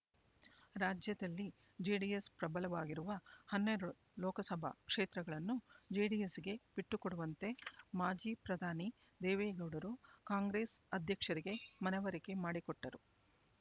ರಾಜ್ಯದಲ್ಲಿ ಜೆಡಿಎಸ್ ಪ್ರಬಲವಾಗಿರುವ ಹನ್ನೆರಡು ಲೋಕಸಭಾ ಕ್ಷೇತ್ರಗಳನ್ನು ಜೆಡಿಎಸ್‌ಗೆ ಬಿಟ್ಟು ಕೊಡುವಂತೆ ಮಾಜಿ ಪ್ರಧಾನಿ ದೇವೇಗೌಡರು ಕಾಂಗ್ರೆಸ್ ಅಧ್ಯಕ್ಷರಿಗೆ ಮನವರಿಕೆ ಮಾಡಿಕೊಟ್ಟರು